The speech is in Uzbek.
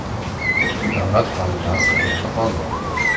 Davlat qonunlari qayerda qoldi?